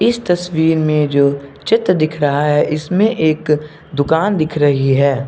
इस तस्वीर में जो चित्र दिख रहा है इसमें एक दुकान दिख रही है।